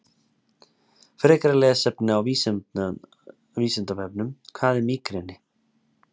Frekara lesefni á Vísindavefnum: Hvað er mígreni?